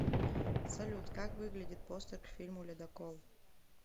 салют как выглядит постер к фильму ледокол